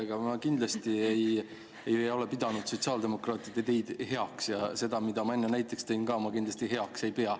Aga ma kindlasti ei ole pidanud sotsiaaldemokraatide ideid heaks ja seda, mis ma enne näiteks tõin, ma ka heaks ei pea.